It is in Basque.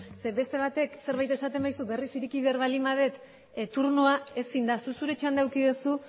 beste batek zerbait esaten badizu berriz ireki behar baldin badut turnoa ezin da zuk zure txanda eduki duzu